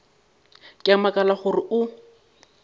ke a makala gore o